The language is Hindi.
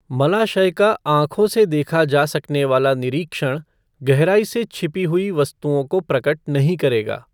मलाशय का आँखों से देखा जा सकने वाला निरीक्षण गहराई से छिपी हुई वस्तुओं को प्रकट नहीं करेगा।